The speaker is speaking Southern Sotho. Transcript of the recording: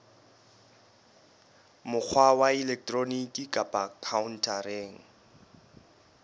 mokgwa wa elektroniki kapa khaontareng